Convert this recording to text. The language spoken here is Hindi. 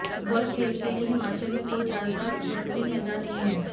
फुटबाल खेल के लिए हिमाचल में कोई ज्यादा बेहतरीन मैदान नहीं है